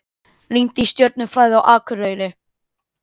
Rýnt í stjörnufræði á Akureyri